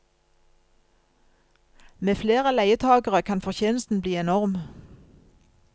Med flere leietagere kan fortjenesten bli enorm.